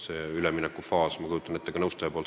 See üleminekufaas, ma kujutan ette, oli selline.